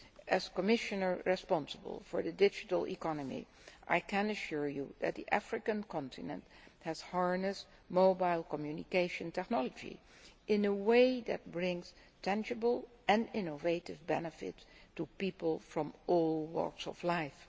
As Commissioner responsible for the digital economy, I can assure you that the African continent has harnessed mobile communication technology in a way that brings tangible and innovative benefits to people from all walks of life.